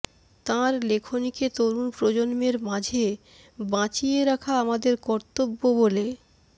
তাঁর লেখনিকে তরুণ প্রজন্মের মাঝে বাঁচিয়ে রাখা আমাদের কর্তব্য বলে